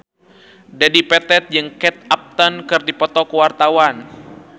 Dedi Petet jeung Kate Upton keur dipoto ku wartawan